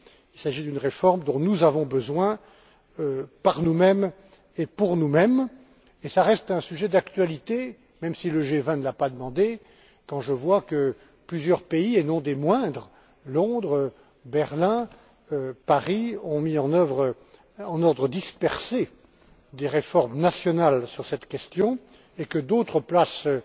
Il s'agit d'une réforme dont nous avons besoin, par nous mêmes, et pour nous mêmes. Cela reste un sujet d'actualité même si le G 20 ne l'a pas demandé. Plusieurs pays, et non des moindres, Londres, Berlin, Paris, ont mis en œuvre, en ordre dispersé, des réformes nationales sur cette question, et d'autres places et